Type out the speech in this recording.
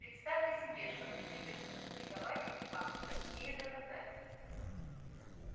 представьте себе что мне придётся публиковать эти факты не имея доказательств